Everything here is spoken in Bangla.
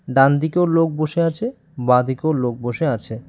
ডানদিকেও লোক বসে আছে বাঁদিকেও লোক বসে আছে।